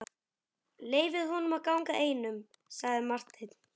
Leyfið honum að ganga einum, sagði Marteinn.